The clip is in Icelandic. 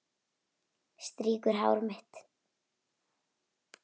Strýkur hár mitt.